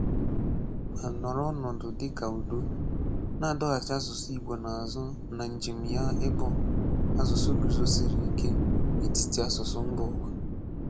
Ma nọrọ ọnọdụ dị ka udo, na-adọghachi asụsụ Ị̀gbò azụ na njem ya ịbụ asụsụ guzósiri ike n’etiti asụsụ mba ụwa.